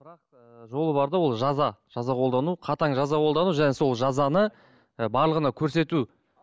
ол жаза жаза қолдану қатаң жаза қолдану және сол жазаны ы барлығына көрсету